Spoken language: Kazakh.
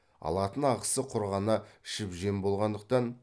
алатын ақысы құр ғана ішіп жем болғандықтан